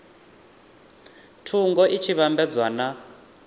thungo i tshi vhambedzwa na